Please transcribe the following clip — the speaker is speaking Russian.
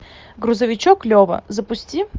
грузовичок лева запусти